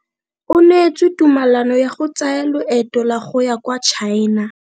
O neetswe tumalano ya go tsaya loeto la go ya kwa China.